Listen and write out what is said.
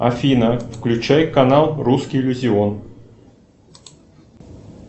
афина включай канал русский иллюзион